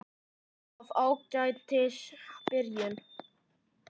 Af Ágætis byrjun